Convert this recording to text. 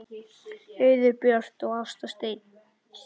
Auður Björt og Ásta Steina.